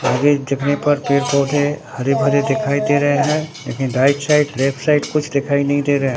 आगे देखने पर पेड़ पौधे हरे भरे दिखाई दे रहे हैं लेकिन राइट साइड लेफ्ट साइड कुछ दिखाई नहीं दे रहा--